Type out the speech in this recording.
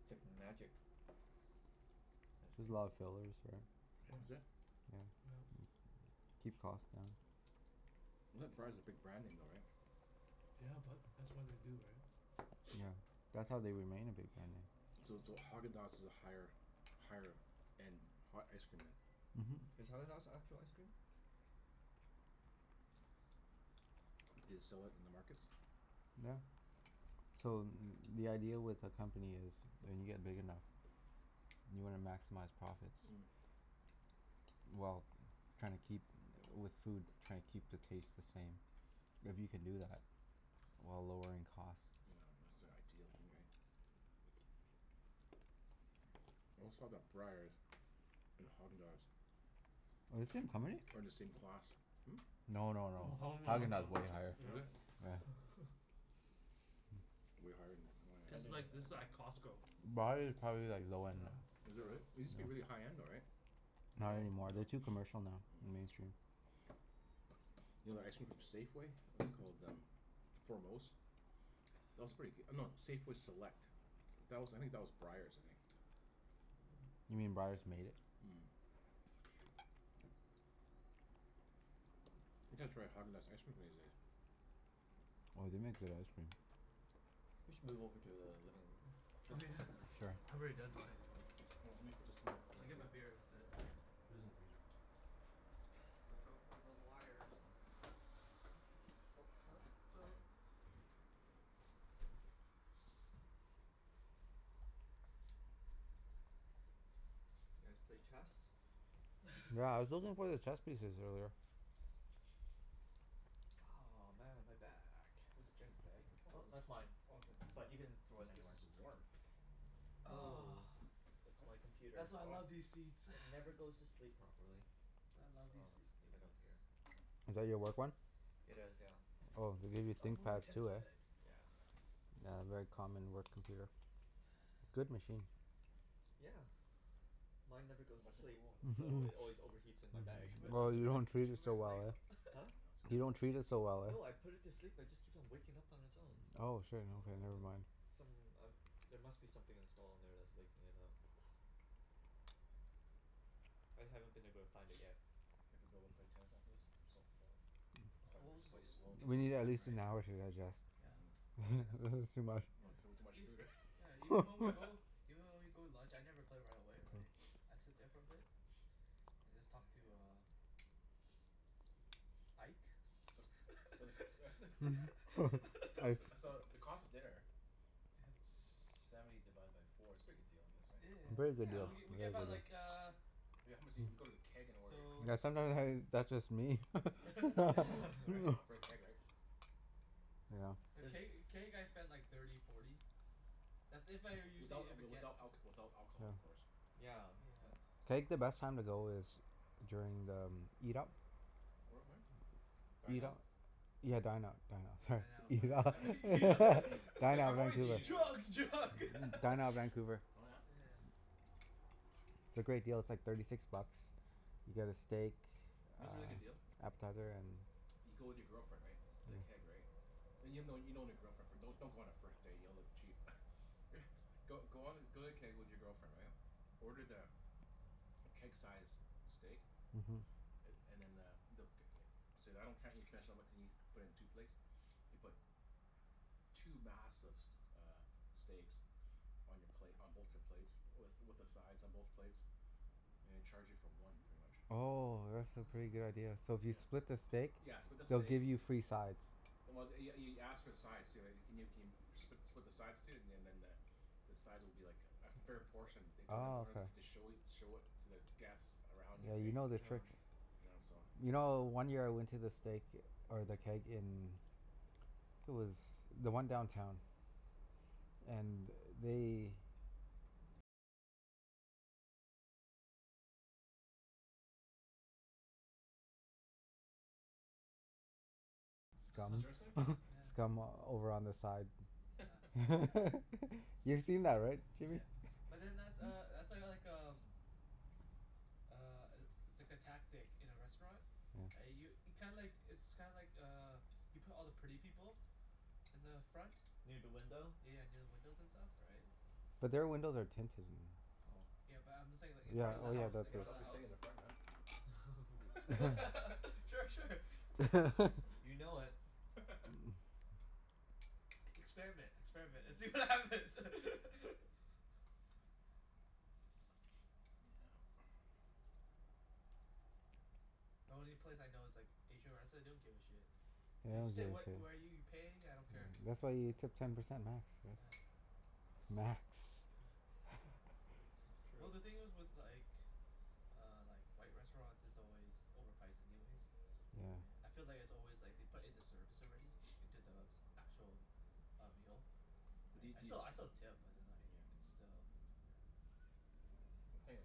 It's like magic. There's a lot of Magic. fillers, right? Yeah. Is it? Yep. Yeah. Keep cost down. I thought Breyers is a big brand name though, right? Yeah, but that's why they do, right? Yeah, that's how they remain a big brand name. So so Häagen-Dazs is a higher higher end ha- ice cream then? Mhm. Is Häagen-Dazs actual ice cream? Do they sell it in the markets? Yeah. So the idea with a company is when you get big enough you wanna maximize profits. Mm. Well, trying to keep, with food, trying to keep the taste the same. If you can do that while lowering costs Yeah, that's the ideal thing, right? Always thought that Breyers and Häagen-Dazs Are the same company? are in the same class. No no no. Oh, no Häagen-Dazs No? is no. way higher. Yeah. Is it? Yeah. Way higher than, oh I This yeah. is didn't like, this know is that like about Costco. Breyers is probably like low Yeah, end. Is it really? It yeah. used to be Yeah. really high-end though, right? Not any No, more. no. They're too commercial now and mainstream. Mm. You know that ice cream from Safeway? What's it called, um Foremost? That was pretty goo- no, Safeway Select. That was I think that was Breyers, I think. You mean Breyers made it? Mhm. I gotta try Häagen-Dazs ice cream one of these days. Oh, they make good ice cream. We should move over to the living room. Oh. Oh yeah. Sure. I've already done mine anyway. Well, let me put this in Let me there get my beer, that's it. Put this in the freezer. Watch out for the l- wires and The Oh cup? towel, Oh. put Mm. it over here. You guys play chess? Yeah, I was looking for the chess pieces earlier. Oh, man, my back. Is this Jen's bag? Woah, Oh, this is that's mine. Oh, is it? But you can throw What it is, this anywhere. is warm? Oh, Ah, it's Huh? my computer. that's why I Oh. love these seats. It never goes to sleep properly. That's why I love So these I'll just seats uh leave it out here. Oh. Is that your work one? It is, yeah. Oh, they give you I'll move my Thinkpads tennis too, eh? bag Yeah. Yeah, very common work computer. Good machines. Yeah. Mine never goes to Nice and sleep cool. so Mhm. it always overheats in my You bag, should put, but you Oh, that's should put, you okay. don't you treat should it put so your well, leg eh? up. Huh? No, it's You don't okay. treat it so well, eh? No, I put it to sleep. It just keeps waking up on its own. Oh, shit. Like, Okay, I never dunno mind. Some, um there must be something installed on there that's waking it up. I haven't been able to find it yet. Think we'll be able to play tennis after this? I'm so full. Probably O- be oh but so th- I- we'll slow. give We some need at time, least an right? hour to digest. Yeah, Mm. at least an This is hour. too much. Oh, it's a little too Yeah, much ev- food, yeah, even when we go eh? even when we go to lunch, I never play right away, right? I sit there for a bit and just talk to Can I uh uh Ike. C- so the c- t- So Ike. it's so the cost of dinner Yeah. Seventy divided by four. It's a pretty good deal I guess, Yeah yeah right? Very yeah. good W- deal. Yeah. w- we get Very buy good Yeah. like de- uh We how much eat if we go to the Keg and order i- So Yeah sometime steak has that's just me. Right? For the Keg, right? Yeah. Th- Does can't y- can't you guys spend like thirty, forty? That's if I owe usually, Without if I w- get without alc- without alcohol Yeah. of course. Yeah, Yeah. that's Keg, the best time to go is during the m- Eat Up. Where at when? Dine Eat Out? up. Hmm? Yeah, Dine out, Dine Out. Sorry. Dine Oh, Out, Dine Eat Up. yeah yeah Out, You yeah. don- right. Dine like, Out "I'm always Vancouver. eating out." Drug! Drug! Mm, Dine Out Vancouver. Oh yeah? Yeah. It's a great deal. It's like thirty six bucks. You get a steak, You know what's a really good deal? uh, appetizer and You go with your girlfriend, right? To the Mm. Keg, right? And you'll know you've known your girlfriend for don- don't go on a first date. You'll look cheap. Go go on th- go to the Keg with your girlfriend, right? Order the keg-sized steak. Mhm. A- and then uh, they'll c- e- Say I don't can't eat finish, and I'm like can ye- put it in two plates? They put two massive s- uh steaks on your plate, on both your plates with with the sides on both plates. And they charge you for one, pretty much. Oh, that's a pretty good Oh. idea. So if you Yeah. split the steak Yeah, split the they'll steak give you free sides. Well th- y- y- you ask for the sides too, right? Can you keen- spli- split the sides too, and and then the the sides will be like a fair portion they don't Oh, don't have okay. to show it show it to the guests around you, Yeah, you right? know their Yeah. tricks. Yeah. Yeah, so You know, Yeah. one year I went to the steak or the Keg in it was the one downtown. And they Huh. scum Seriously? Yeah. scum over on the side. Yeah. You've seen that, right Jimmy? Yeah. But then that's uh that's uh like um uh, i- it's like a tactic in a restaurant. I Yeah. u- kinda like, it's kinda like uh you put all the pretty people in the front. Near da window? Yeah, near the windows and stuff, right? So But their windows are tinted and Oh. Yeah, but I'm saying like in I Yeah, front guess of the oh yeah, house. I In that's guess right front I'll of the be sitting house. in the front then. Yeah. Sure. Sure. You know it. Experiment. Experiment, and see what Mm. happens. Yeah. The only place I know is like Asian restr- they don't give a shit. Yeah, they You don't sit give a wh- shit. where you pay, I don't Yeah, care. that's why you tip Yeah. ten percent max, right? Yeah. Not Max. Yeah. That's Well true. the thing is with like uh like, white restaurants, it's always overpriced anyways. Yeah. Yeah. I feel like it's always like they put in the service already into the actual uh, meal. But do Right? y- I do still I y- still tip, but then like Yeah. it's still, yeah. The thing is,